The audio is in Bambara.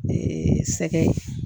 sɛgɛn